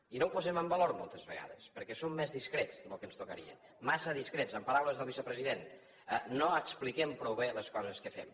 i no ho posem en valor moltes vegades perquè som més discrets del que ens tocaria massa discrets en paraules del vicepresident no expliquem prou bé les coses que fem